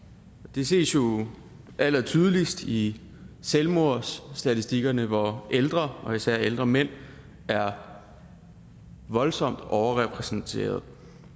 det ses jo allertydeligst i selvmordsstatistikkerne hvor ældre og især ældre mænd er voldsomt overrepræsenteret